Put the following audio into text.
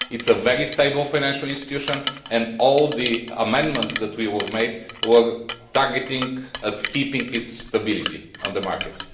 It is a very stable financial institution and all the amendments that we tabled were targeted at keeping its stability on the market.